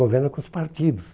Governa com os partidos.